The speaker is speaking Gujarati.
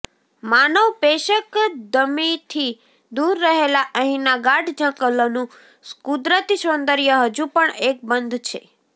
માનવ પેશકદમીથી દૂર રહેલા અહીંના ગાઢ જંગલોનું કુદરતી સૌંદર્ય હજુ પણ અકબંધ છે